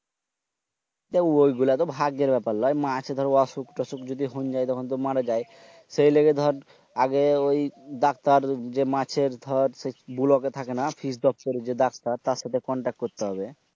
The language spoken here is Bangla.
ঐগুলা তো ভাগ্যের ব্যাপার মাছের দর অসুখ টসুখ যদি হইন যায় সে লেগে দর আগে ঐ ডাক্তার যে মাছের দর কুলবে থাকেনা fresh দপ্তরি যে ডাক্তার তার সাথে contact করতে হবে।